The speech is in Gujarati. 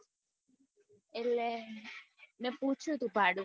એટલે મેં પૂછ્યું તું ભાડું